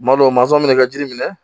Kuma dɔw mansɔn min bɛ ka jiri minɛ